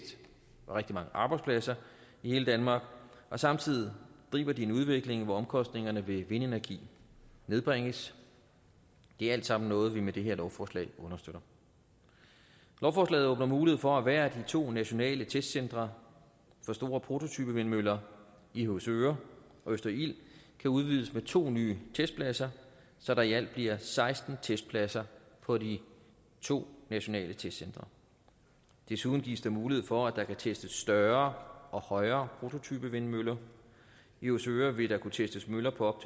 og rigtig mange arbejdspladser i hele danmark og samtidig griber de en udvikling hvor omkostningerne ved vindenergi nedbringes det er alt sammen noget vi med det her lovforslag understøtter lovforslaget åbner mulighed for at hvert af de to nationale testcentre for store prototypevindmøller i høvsøre og østerild kan udvides med to nye testpladser så der i alt bliver seksten testpladser på de to nationale testcentre desuden gives der mulighed for at der kan testes større og højere prototypevindmøller i høvsøre vil der kunne testes møller på